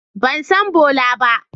Ban san Bola ba.